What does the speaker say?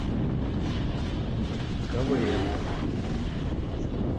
квн